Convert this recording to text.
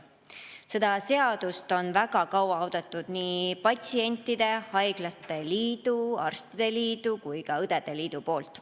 Seda seadust on väga kaua oodanud nii patsientide liit, haiglate liit, arstide liit kui ka õdede liit.